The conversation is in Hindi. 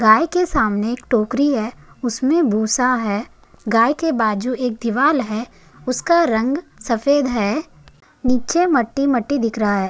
गाय के सामने एक टोकरी है उसमे भूसा है गाय के बाजू एक दीवार है उसका रंग सफ़ेद है नीचे मट्टी मट्टी दिख रहा है।